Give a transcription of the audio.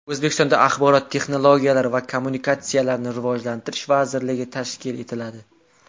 O‘zbekistonda Axborot texnologiyalari va kommunikatsiyalarini rivojlantirish vazirligi tashkil etiladi.